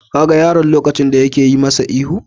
Ka ga yaron lokacin da yake yi masa ihu?